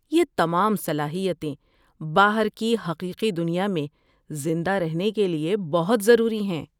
یہ تمام صلاحیتیں باہر کی حقیقی دنیا میں زندہ رہنے کے لیے بہت ضروری ہیں۔